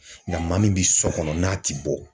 Nka maa min bi so kɔnɔ n'a ti bɔ.